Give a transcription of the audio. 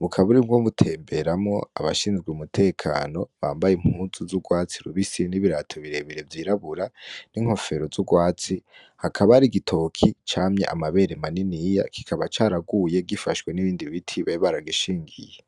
bukaba burimwo butemberamwo abashinzwe umutekano bambaye impuzu z'urwatsi rubisi n'ibirato birebire vyirabura n'inkofero z'urwatsi hakaba hari igitoki camye amabere maniniya kikaba caraguye gifashwe nibindi biti bari baragishingiye.